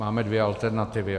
Máme dvě alternativy.